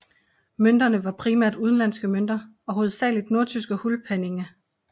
Mønterne var primært udenlandske mønter og hovedsageligt nordtyske hulpenninge